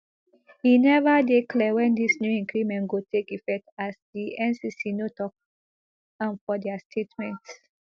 e neva dey clear wen dis new increment go take effect as di ncc no tok am for dia statement